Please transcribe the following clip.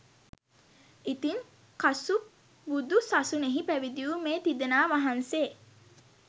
ඉතින් කසුප් බුදු සසුනෙහි පැවිදි වූ මේ තිදෙනා වහන්සේ